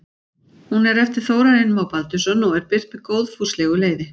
Hún er eftir Þórarin Má Baldursson og er birt með góðfúslegu leyfi.